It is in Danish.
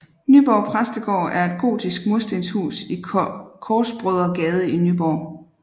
Nyborg Præstegård er et gotisk murstenhus i Korsbrødregade i Nyborg